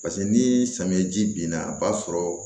Paseke ni samiya ji binna a b'a sɔrɔ